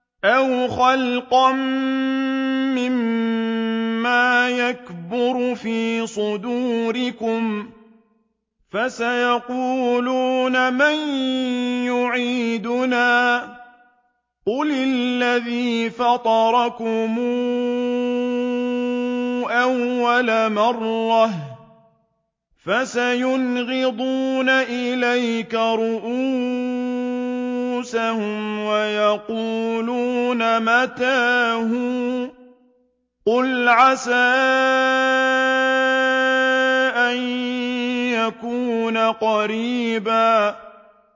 أَوْ خَلْقًا مِّمَّا يَكْبُرُ فِي صُدُورِكُمْ ۚ فَسَيَقُولُونَ مَن يُعِيدُنَا ۖ قُلِ الَّذِي فَطَرَكُمْ أَوَّلَ مَرَّةٍ ۚ فَسَيُنْغِضُونَ إِلَيْكَ رُءُوسَهُمْ وَيَقُولُونَ مَتَىٰ هُوَ ۖ قُلْ عَسَىٰ أَن يَكُونَ قَرِيبًا